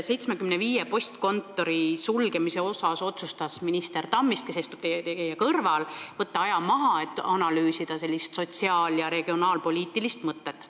75 postkontori sulgemise osas otsustas minister Tammist, kes istub teie kõrval, võtta aja maha, et seda sotsiaal- ja regionaalpoliitilist ideed analüüsida.